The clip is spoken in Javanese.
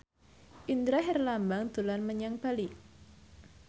Indra Herlambang dolan menyang Bali